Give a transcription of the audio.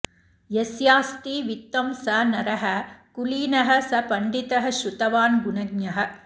यस्यास्ति वित्तं स नरः कुलीनः स पण्डितः श्रुतवान् गुणज्ञः